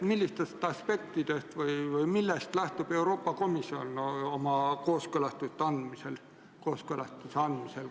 Millistest aspektidest või millest lähtub Euroopa Komisjon oma kooskõlastuse andmisel?